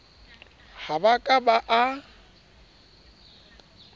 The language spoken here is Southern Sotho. ha ba ka ba a